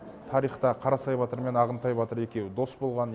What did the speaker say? тарихта қарасай батыр мен ағынтай батыр екеуі дос болған